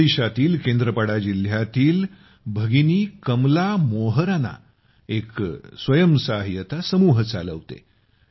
ओडिशातील केंद्रपाडा जिल्ह्यातील भगिनी कमला मोहराना एक स्वयंसहाय्यता समूह चालवते